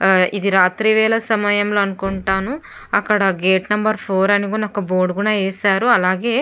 ఇది రాత్రి వేళా సమయం లో అనుకుంటాను అక్కడ గేట్ నెంబర్ ఫోర్ అని ఒక బోర్డు కూడా వేశారు.అలాగే --